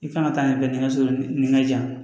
I kan ka taa nin kɛ nin ka so nin ka jan